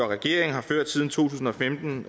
regeringen har ført siden to tusind og femten